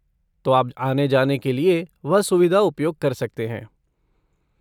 तो आप आने जाने के लिए वह सुविधा उपयोग कर सकते हैं।